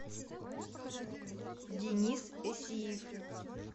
денис эсиев